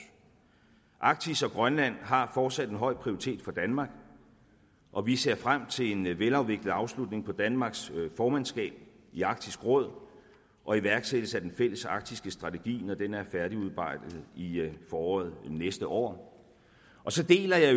arktis og grønland har fortsat en høj prioritet for danmark og vi ser frem til en velafviklet afslutning på danmarks formandskab i arktisk råd og iværksættelsen af den fælles arktiske strategi når den er færdigudarbejdet i foråret næste år og så deler jeg